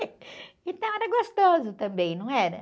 Então, era gostoso também, não era?